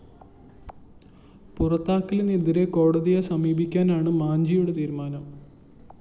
പുറത്താക്കലിനെതിരെ കോടതിയെ സമീപിക്കാനാണ് മാഞ്ജിയുടെ തീരുമാനം